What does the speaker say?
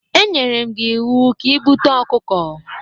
E nyere m gi iwu ka i bute okuko!